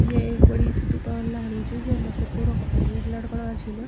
या एक बड़ी सी दुकान लगणि च जैमा कुरकुरो का पैकेट लटकणा छिन।